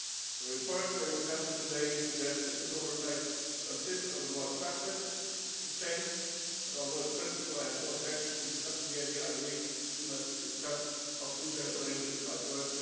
The reports we are discussing today suggests that this oversight consists of a more structured exchange, and although in principle I have no objection to discussing the idea I believe we must discuss how future arrangements might work.